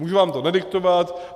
Můžu vám to nadiktovat.